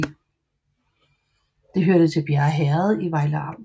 Det hørte til Bjerre Herred i Vejle Amt